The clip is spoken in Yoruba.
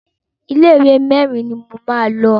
Ilé ìwé mẹ́rin ni mo máa lọ.